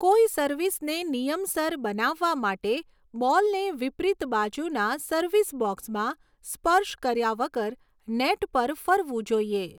કોઈ સર્વિસને નિયમસર બનાવવા માટે, બોલને વિપરીત બાજુના સર્વિસ બોક્સમાં સ્પર્શ કર્યા વગર નેટ પર ફરવું જોઈએ.